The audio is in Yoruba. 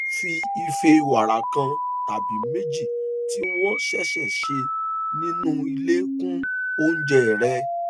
fi ife wàrà kan tàbí méjì tí wọn ṣẹṣẹ ṣe nínú ilé kún oúnjẹ rẹ